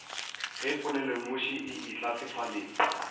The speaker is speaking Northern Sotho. ge polelonoši e etla sefaleng